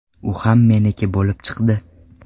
U ham ‘meniki’ bo‘lib chiqdi.